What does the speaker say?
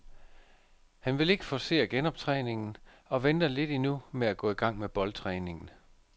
Han vil ikke forcere genoptræningen og venter lidt endnu med at gå i gang med boldtræningen.